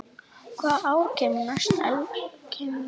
Hvaða ár kemur næst eldgos?